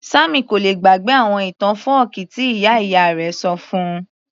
Sammy kò lè gbàgbé àwọn ìtàn fọ́ọ̀kí tí ìyá ìyá rẹ̀ ṣọ fún -un